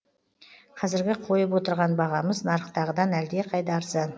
қазіргі қойып отырған бағамыз нарықтағыдан әлдеқайда арзан